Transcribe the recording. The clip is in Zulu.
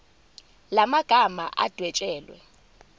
la magama adwetshelwe